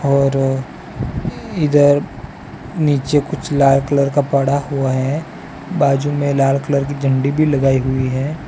और इधर नीचे कुछ लाल कलर का पड़ा हुआ है बाजू में लाल कलर की झंडी भी लगाई हुई है।